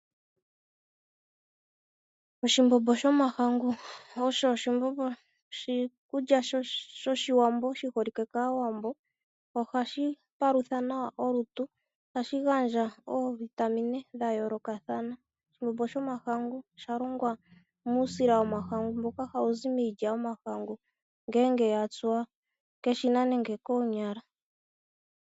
Oshimbombo shomahangu osho oshikulya shOshiwambo shi holike kAawambo. Ohashi palutha nawa olutu. ohashi gandja oovitamine dha yoolokathana . Osha longwa muusila wiilya yomahangu ngele ya tsuwa keshina nenge koonyala.